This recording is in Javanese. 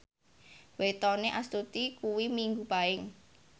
wetone Astuti kuwi Minggu Paing